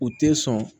U tɛ sɔn